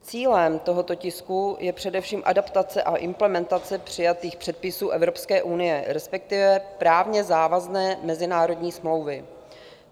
Cílem tohoto tisku je především adaptace a implementace přijatých předpisů Evropské unie, respektive právně závazné mezinárodní smlouvy.